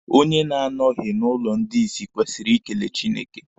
Onye na-anọghị n'ụlọ ndị isi kwesịrị ikele Chineke.